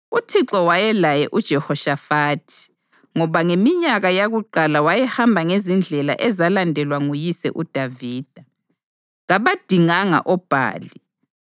UThixo wayelaye uJehoshafathi ngoba ngeminyaka yakuqala wayehamba ngezindlela ezalandelwa nguyise uDavida. Kabadinganga oBhali,